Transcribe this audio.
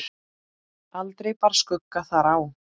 Aldrei bar skugga þar á.